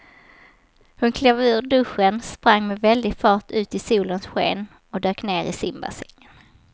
Hon klev ur duschen, sprang med väldig fart ut i solens sken och dök ner i simbassängen.